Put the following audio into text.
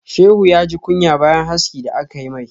Shehu ya ji kunya bayan haski da aka yi mai.